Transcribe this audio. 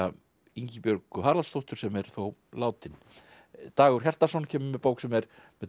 Ingibjörgu Haraldsdóttur sem er þó látin Dagur Hjartarson kemur með bók sem er með